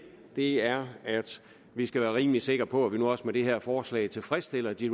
er at vi skal være rimelig sikre på at vi nu også med det her forslag tilfredsstiller de